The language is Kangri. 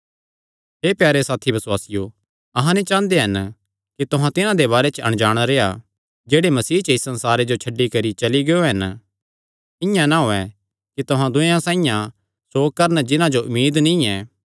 हे प्यारे साथी बसुआसियो अहां नीं चांह़दे हन कि तुहां तिन्हां दे बारे च अणजाण रेह्आ जेह्ड़े मसीह च इस संसारे जो छड्डी करी चली गियो हन इआं ना होयैं कि तुहां दूयेयां साइआं सोक करन जिन्हां जो उम्मीद नीं ऐ